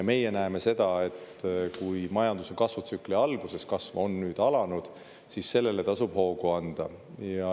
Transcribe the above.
Meie näeme seda, et kui majanduskasvutsükli alguses kasv on nüüd alanud, siis sellele tasub hoogu anda.